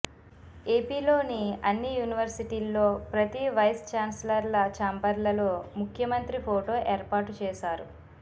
ఏపీలోని అన్ని యూనివర్సిటీల్లో ప్రతీ వైస్ ఛాన్సలర్ల ఛాంబర్లలో ముఖ్యమంత్రి ఫొటో ఏర్పాటు చేసారు